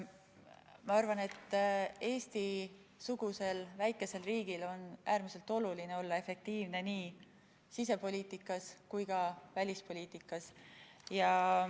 Ma arvan, et Eesti-sugusel väikesel riigil on äärmiselt oluline olla efektiivne nii sisepoliitikas kui ka välispoliitikas.